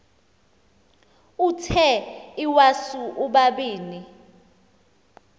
uthe iwasu ubabini